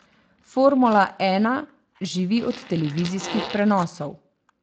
Formula ena živi od televizijskih prenosov.